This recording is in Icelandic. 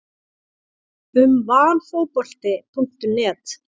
Um Valfotbolti.net